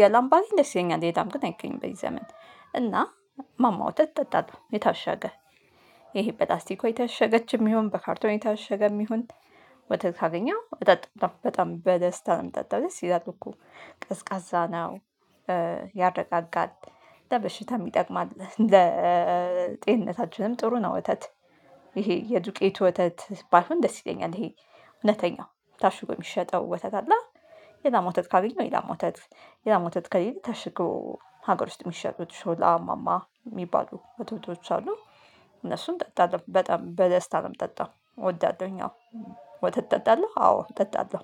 የላም ባገኝ ደስ ይለኛል የላም ግን አይገኝም በዚህ ዘመን። እና ማማ ወተት እጠጣለሁ የታሸገ ይሄ በላስቲኩ የታሸገችም ይሁን በካርቶን የታሸገም ይሁን። ወተት ካገኘው እጠጣለሁ በጣም በደስታ ነው የምጠጣው ደስ ይላል እኮ ቀዝቃዛ ነው። ያረጋጋል ለበሽታ የሚጠቅም አለ ለጤንነታችንም ጥሩ ነው ወተት። ይሄ የዱቄቱ ወተት ባይሆን ደስ ይለኛል ይሄ እውነተኛው ታሽጐ የሚሸጠው ወተት አለ። የላም ወተት ካገኘው የላም ወተት የላም ወተት ከሌለ ታሽጎ ሀገር ውስጥ የሚሸጡት ሾላ ማማ የሚባሉ ወተቶች አሉ። እነሱን እጠጣለው በጣም በደስታ ነው ምጠጣው እወዳለሁኝ አዎ። ወተት እጠጣለሁ አዎ እጠጣለሁ።